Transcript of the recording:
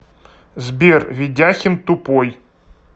сбер ведяхин тупой